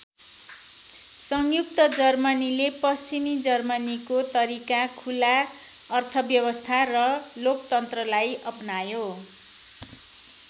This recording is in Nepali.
संयुक्त जर्मनीले पश्चिमी जर्मनीको तरिका खुला अर्थव्यवस्था र लोकतन्त्रलाई अपनायो।